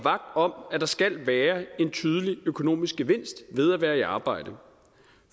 om at der skal være en tydelig økonomisk gevinst ved at være i arbejde